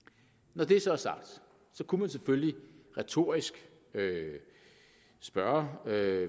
når det så er sagt kunne man selvfølgelig retorisk spørge hvad